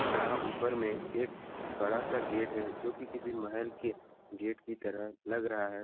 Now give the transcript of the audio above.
यहाँ ऊपर में एक बड़ा सा गेट है जो की किसी महल की गेट की तरह लग रहा है।